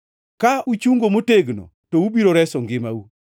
Ka uchungo motegno to ubiro reso ngimau.